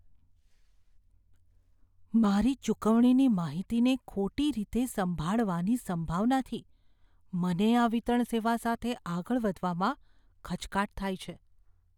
મારી ચુકવણીની માહિતીને ખોટી રીતે સંભાળવાની સંભાવનાથી, મને આ વિતરણ સેવા સાથે આગળ વધવામાં ખચકાટ થાય છે.